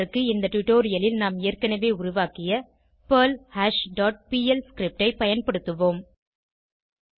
இதற்கு இந்த டுடோரியலில் நாம் ஏற்கனவே உருவாக்கிய பெர்ல்ஹாஷ் டாட் பிஎல் scriptஐ பயன்படுத்துவோம்